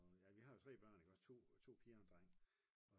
Ja og vi har jo 3 børn iggås 2 piger og 1 dreng